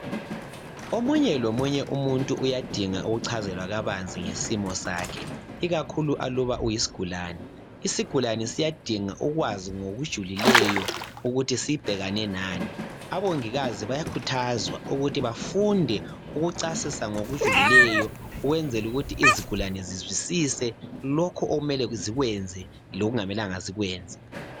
Omunye lomunye umuntu uyadinga ukuchazelwa kabanzi ngesimo sakhe ikakhulu aluba uyisigulani. Isigulani siyadinga ukwazi ngokujulileyo ukuthi sibhekane nani. Abongikazi bayakhuthazwa ukuthi bafunde ukucasisa ngokujulileyo ukwenzela ukuthi izigulani zizwisise lokhu okumele zikwenze lokungamelanga zikwenze.